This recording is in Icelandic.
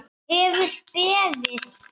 Hefur beðið.